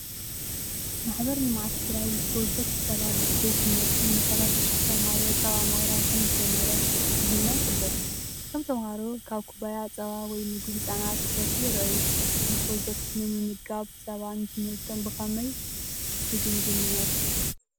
ማሕበር ልምዓት ትግራይ ብፕሮጀክት "ፀባ ቤት ትምህርቲ" ን30 ሽሕ ተምሃሮ ፀባ ምቕራብ ከምዝጀመረ እቲ ዜና ይሕብር። እቶም ተምሃሮ ካብ ኩባያ ጸባ ወይ ምግቢ ህጻናት ክሰትዩ ይረኣዩ። እዚ ፕሮጀክት ምምጋብ ጸባ ንትምህርቶም ብኸመይ ትግምግምዎ?